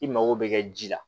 I mago bɛ kɛ ji la